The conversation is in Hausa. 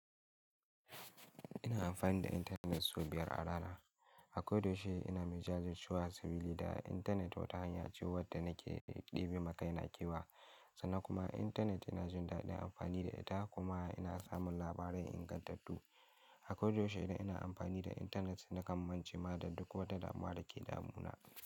Ina amfani da intanet sau biyar a rana. A kodayaushe ina mai jajircewa sabili da intanet wata hanya ce wadda nake ɗebe ma kaina kewa. Sannan kuma intanet yana jin daɗin amfani da ita kuma ina samun labarai ingantattu. A kodayaushe idan ina amfani da intanet nakan mance ma da duk wata damuwa ke damu na.